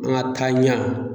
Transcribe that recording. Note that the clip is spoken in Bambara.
An ŋa taaɲa